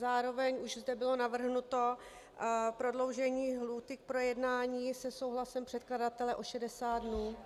Zároveň už zde bylo navrhnuto prodloužení lhůty k projednání se souhlasem předkladatele o 60 dnů.